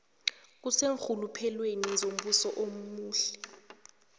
kuseenrhuluphelweni zombuso omuhle